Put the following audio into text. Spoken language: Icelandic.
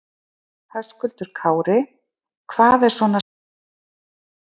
Höskuldur Kári: Hvað er svona skemmtilegast?